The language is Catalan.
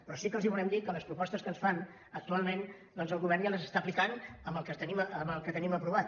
però sí que els volem dir que les propostes que ens fan actualment doncs el govern ja les està aplicant amb el que tenim aprovat